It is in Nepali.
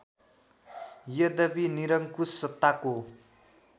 यद्यपि निरङ्कुश सत्ताको